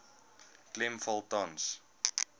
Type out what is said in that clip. klem val tans